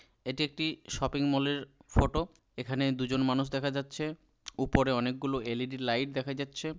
এটি একটি shopping mall এর ফটো । এখানে দুজন মানুষ দেখা যাচ্ছে। উপরে অনেক গুলো এল.ই.ডি. লাইট দেখা যাচ্ছে।